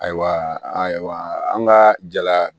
Ayiwa ayiwa an ka jala